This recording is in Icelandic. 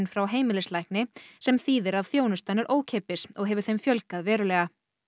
frá heimilislækni sem þýðir að þjónustan er ókeypis og hefur þeim fjölgað verulega